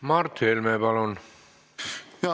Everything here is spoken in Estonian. Mart Helme, palun!